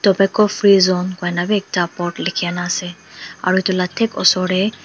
tobacco free zone koina bhi ekta board likhe kina ase aru etu laga thik osor te--